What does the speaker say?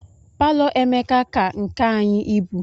Palo Emeka ka nke anyị ibu.